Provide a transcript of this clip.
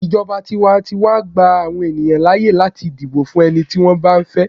ijoba tiwantiwa gba àwọn ènìyàn láyè láti dibo fún ẹni tí wan ba fẹ